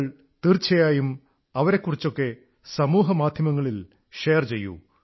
നിങ്ങൾ തീർച്ചയായും അവരെക്കുറിച്ചൊക്കെ സമൂഹമാധ്യമങ്ങളിൽ ഷെയർ ചെയ്യൂ